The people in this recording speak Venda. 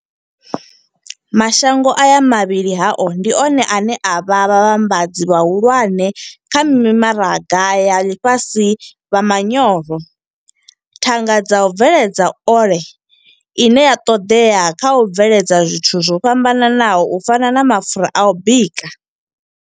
Mashango aya vhuvhili hao ndi one ane a vha vhavhambadzi vhahulwane kha mimaraga ya ḽifhasi vha manyoro, thanga dza u bveledza ole ine ya ṱoḓea kha u bveledza zwithu zwo fhambanaho u fana na mapfura a u bika.